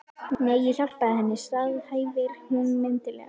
Nei, ég hjálpaði henni, staðhæfir hún mildilega.